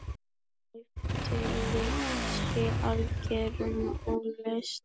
Eftirlit sé í algerum ólestri.